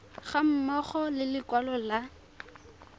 ga mmogo le lekwalo la